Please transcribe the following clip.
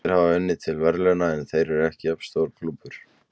Þeir hafa unnið til verðlauna, en þeir eru ekki jafn stór klúbbur.